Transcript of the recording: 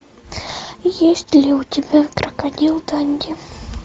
есть ли у тебя крокодил данди